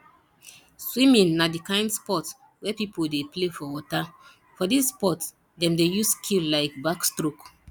swimming na di kind sport wey pipo dey play for water for this sport dem dey use skill like backstroke